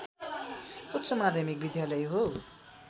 उच्च माध्यमिक विद्यालय हो